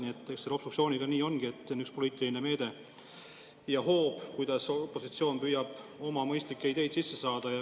Nii et obstruktsiooniga ongi nii, et see on üks poliitiline meede ja hoob, kuidas opositsioon püüab oma mõistlikke ideid sisse saada.